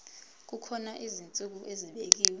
kukhona izinsuku ezibekiwe